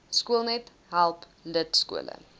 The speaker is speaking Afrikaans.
skoolnet help lidskole